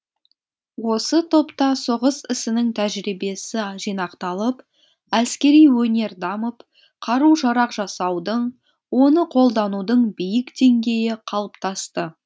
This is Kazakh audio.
осы топта соғыс ісінің тәжірибесі жинақталып әскери өнер дамып қару жарақ жасаудың оны қолданудың биік деңгейі қалыптасты